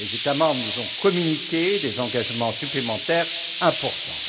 Les États membres nous ont communiqué des engagements supplémentaires importants.